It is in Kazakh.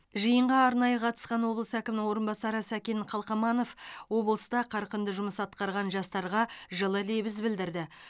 жиынға арнайы қатысқан облыс әкімінің орынбасары сәкен қалқаманов облыста қарқынды жұмыс атқарған жастарға жылы лебіз білдірді